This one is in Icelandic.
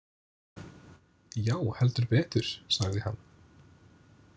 Já, heldur betur, sagði hann.